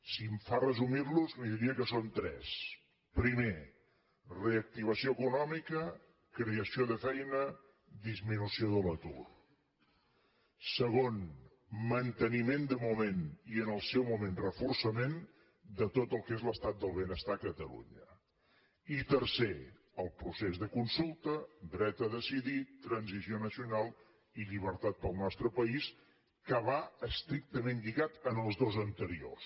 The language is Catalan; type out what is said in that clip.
si em fa resumir los li diria que són tres primer reactivació econòmica creació de feina disminució de l’atur segon manteniment de moment i en el seu moment reforçament de tot el que és l’estat del benestar a catalunya i tercer el procés de consulta dret a decidir transició nacional i llibertat per al nostre país que va estrictament lligat als dos anteriors